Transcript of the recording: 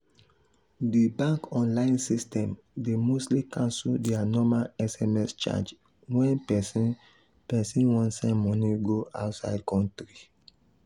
the bank online system dey mostly cancel their normal sms charge when person person wan send money go outside country.